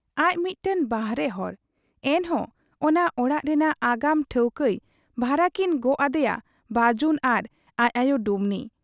ᱟᱡ ᱢᱤᱫᱴᱟᱹᱝ ᱵᱟᱦᱨᱮ ᱦᱚᱲ ᱾ ᱮᱱᱦᱚᱸ ᱚᱱᱟ ᱚᱲᱟᱜ ᱨᱮᱱᱟᱜ ᱟᱜᱟᱢ ᱴᱷᱟᱹᱣᱠᱟᱹᱭ ᱵᱷᱟᱨᱟᱠᱤᱱ ᱜᱚᱜ ᱟᱫᱮᱭᱟ ᱵᱟᱹᱡᱩᱱ ᱟᱨ ᱟᱡ ᱟᱭᱚ ᱰᱩᱢᱱᱤ ᱾